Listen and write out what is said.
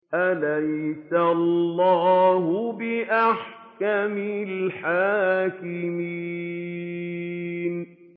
أَلَيْسَ اللَّهُ بِأَحْكَمِ الْحَاكِمِينَ